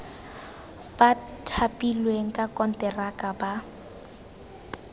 ba thapilweng ka konteraka ba